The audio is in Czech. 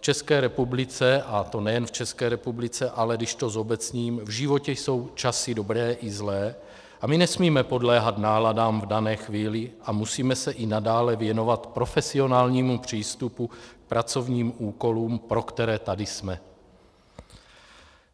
České republice, a to nejen v České republice, ale když to zobecním, v životě jsou časy dobré i zlé a my nesmíme podléhat náladám v dané chvíli a musíme se i nadále věnovat profesionálnímu přístupu k pracovním úkolům, pro které tady jsme.